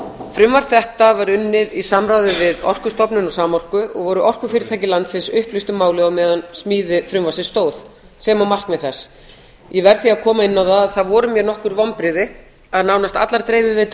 frumvarp þetta var unnið í samráði við orkustofnun og samorku og voru orkufyrirtæki landsins upplýst um málið á meðan á smíði frumvarpsins stóð sem og markmið þess ég verð því að koma inn á það að það voru mér nokkur vonbrigði að nánast allar dreifiveitur